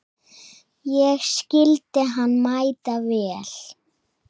Ég skildi hann mæta vel.